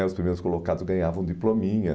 né os primeiros colocados ganhavam um diplominha.